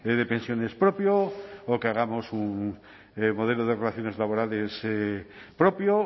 de pensiones propio o que hagamos un modelo de relaciones laborales propio